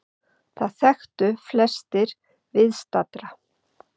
Það þekktu flestir viðstaddra.